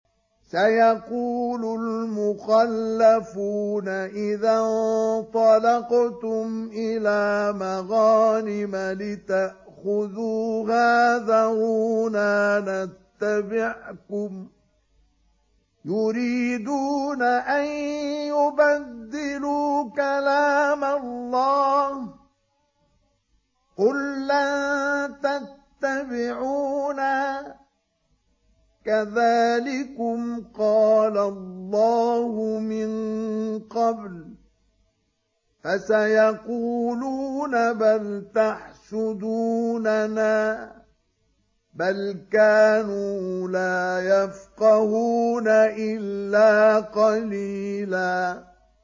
سَيَقُولُ الْمُخَلَّفُونَ إِذَا انطَلَقْتُمْ إِلَىٰ مَغَانِمَ لِتَأْخُذُوهَا ذَرُونَا نَتَّبِعْكُمْ ۖ يُرِيدُونَ أَن يُبَدِّلُوا كَلَامَ اللَّهِ ۚ قُل لَّن تَتَّبِعُونَا كَذَٰلِكُمْ قَالَ اللَّهُ مِن قَبْلُ ۖ فَسَيَقُولُونَ بَلْ تَحْسُدُونَنَا ۚ بَلْ كَانُوا لَا يَفْقَهُونَ إِلَّا قَلِيلًا